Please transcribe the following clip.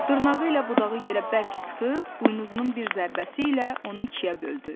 Dırnağı ilə budağı yerə bərk sıxıb buynuzunun bir zərbəsi ilə onu ikiyə böldü.